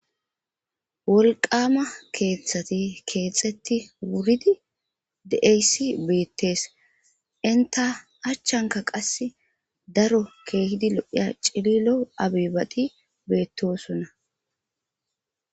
wolqama keeththati keexetti wuridi de7eyssi beettees inta achchanka qas daro keehidi lo7iya cililo abibati beettosonna